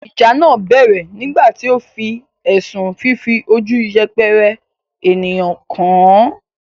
ìjà náà bẹ̀rẹ̀ nígbà tí ó fi ẹ̀sùn fífi ojú yẹpẹrẹ ènìyàn kàn án.